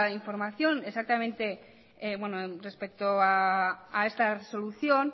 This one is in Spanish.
información respecto a esta resolución